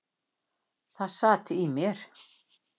Það sat í mér.